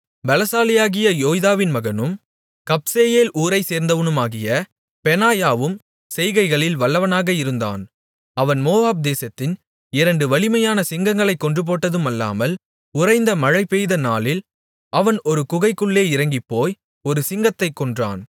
பெலசாலியாகிய யோய்தாவின் மகனும் கப்சேயேல் ஊரைச்சேர்ந்தவனுமாகிய பெனாயாவும் செய்கைகளில் வல்லவனாக இருந்தான் அவன் மோவாப் தேசத்தின் இரண்டு வலிமையான சிங்கங்களைக் கொன்றதுமட்டுமல்லாமல் உறைந்த மழைபெய்த நாளில் அவன் ஒரு குகைக்குள்ளே இறங்கிப்போய் ஒரு சிங்கத்தைக் கொன்றான்